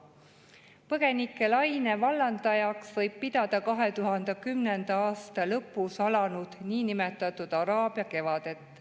Põgenikelaine vallandajaks võib pidada 2010. aasta lõpus alanud niinimetatud araabia kevadet.